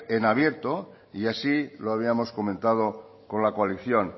en abierto y así lo habíamos comentado con la coalición